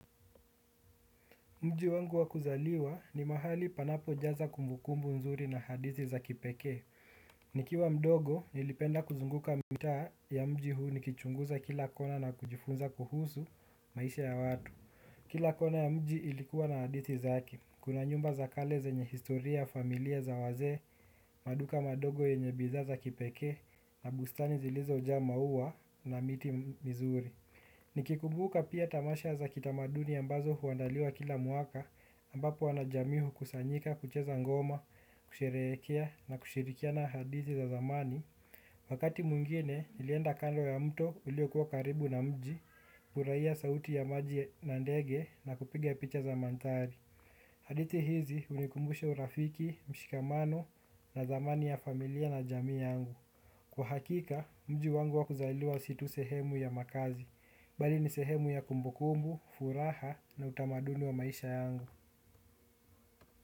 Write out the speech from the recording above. Mji wangu wa kuzaliwa ni mahali panapojaza kumbukumbu nzuri na hadithi za kipekee. Nikiwa mdogo, nilipenda kuzunguka mitaa ya mji huu nikichunguza kila kona na kujifunza kuhusu maisha ya watu. Kila kona ya mji ilikuwa na hadithi zake. Kuna nyumba za kale zenye historia ya familia za wazee, maduka madogo yenye bidhaa za kipekee na bustani zilizojaa maua na miti mizuri. Nikikumbuka pia tamasha za kitamaduni ambazo huandaliwa kila mwaka ambapo wanajamii hukusanyika, kucheza ngoma, kusherehekea na kushirikiana hadithi za zamani wakati mwingine nilienda kando ya mto uliokuwa karibu na mji, kufurahia sauti ya maji na ndege na kupiga picha za mandhari hadithi hizi hunikumbusha urafiki, mshikamano na thamani ya familia na jamii yangu kwa hakika, mji wangu wa kuzaliwa si tu sehemu ya makazi bali ni sehemu ya kumbukumbu, furaha na utamaduni wa maisha yangu.